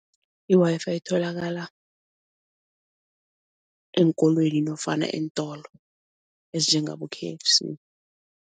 I-WiFi itholakala eenkolweni nofana eentolo ezinjengabo-K_F_C.